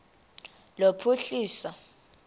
lophuhliso